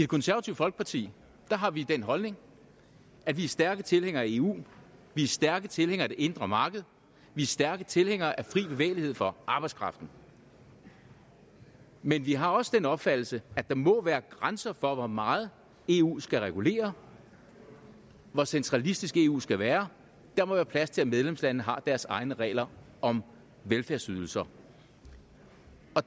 konservative folkeparti har vi den holdning at vi er stærke tilhængere af eu vi er stærke tilhængere af det indre marked vi er stærke tilhængere af fri bevægelighed for arbejdskraften men vi har også den opfattelse at der må være grænser for hvor meget eu skal regulere hvor centralistisk eu skal være der må være plads til at medlemslandene har deres egne regler om velfærdsydelser